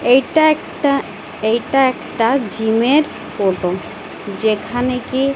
এটা একটা এইটা একটা জিম -এর ফোটো যেখানে কি--